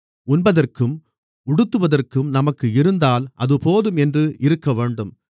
உண்பதற்கும் உடுத்துவதற்கும் நமக்கு இருந்தால் அது போதும் என்று இருக்கவேண்டும்